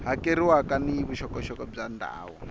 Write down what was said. hakeriwaka ni vuxokoxoko bya ndhawu